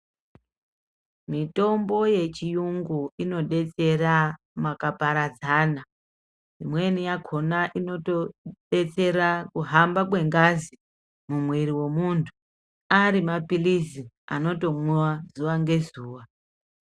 Mitombo yechirungu inodetsera makaparadzana imweni yakona inoto detsera kuhamba kwengazi mumwiri memuntu arimapirizi anotomwiwa zuwa ngezuwa.